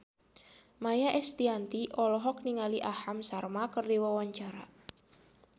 Maia Estianty olohok ningali Aham Sharma keur diwawancara